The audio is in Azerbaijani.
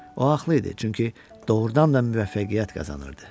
O haqlı idi, çünki doğurdan da müvəffəqiyyət qazanırdı.